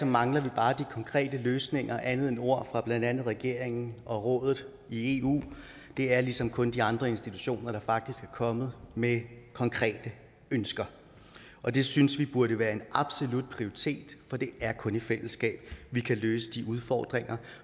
mangler vi bare de konkrete løsninger og andet end ord fra blandt andet regeringen og rådet i eu det er ligesom kun de andre institutioner der faktisk er kommet med konkrete ønsker og det synes vi burde være en absolut prioritet for det er kun i fællesskab vi kan løse de udfordringer